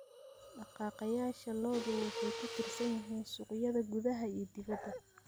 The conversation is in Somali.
Dhaqaaqayaasha lo'du waxay ku tiirsan yihiin suuqyada gudaha iyo dibadda.